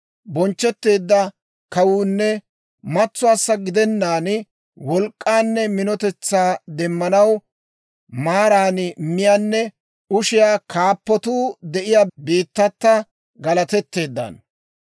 Bonchchetteedda kawuunne matsuwaassa gidennaan wolk'k'aanne minotetsaa demmanaw maaran miyaanne ushiyaa kaappatuu de'iyaa biittata galatetteeddaano.